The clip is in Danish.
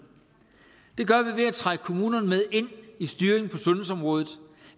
det gør vi ved at trække kommunerne med ind i styringen på sundhedsområdet